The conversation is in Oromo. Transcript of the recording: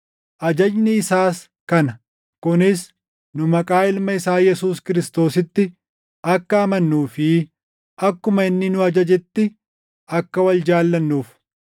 Ajajni isaas kana: kunis nu maqaa Ilma isaa Yesuus Kiristoositti akka amannuu fi akkuma inni nu ajajetti akka wal jaallannuuf.